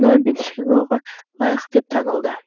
нобель сыйлығы лайық деп танылды